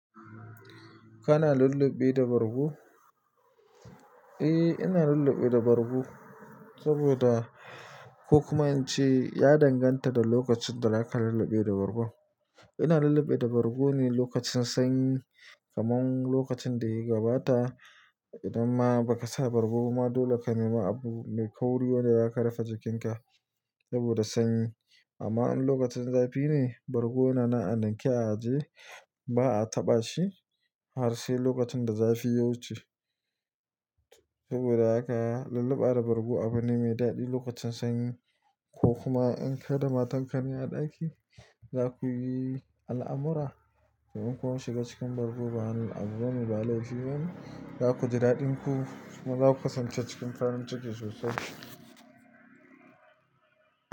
Kana lulluɓi da bargo? Eh, ina lulluɓe da bargo saboda ko kuma in ce ya danganta da lokacin da zaka lulluɓe da bargo. Ina lulluɓi da bargo ne lokacin sanyi, kamar lokacin da ya gabata idan ma ba ka sa bargo ba dole ka nema abu mai kauri wanda za ka rufe jikinka saboda sanyi. Amma in lokacin zafi ne, bargo yana a ninke a ajiye, ba a taɓa shi har sai lokacin da zafi ya wuce. Saboda haka lulluɓa da bargo abu ne mai daɗi lokacin sanyi ko kuma in kai da matan ka ne a ɗaki, za ku yi al'amura. In kun shiga cikin bargo bayan anlulluɓe ba laifi ba ne, za ku ji daɗin ku kuma za ku kasance cikin farin ciki sosai.